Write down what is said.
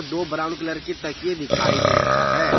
दो brown colour की तकिये दिखाई दे रहा है।